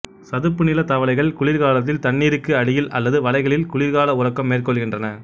சதுப்புநில தவளைகள் குளிர்காலத்தில் தண்ணீருக்கு அடியில் அல்லது வளைகளில் குளிர்கால உறக்கம் மேற்கொள்கின்றன